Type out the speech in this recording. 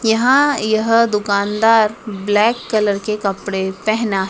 यहां यह दुकानदार ब्लैक कलर के कपड़े पहना --